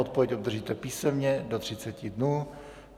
Odpověď obdržíte písemně do 30 dnů.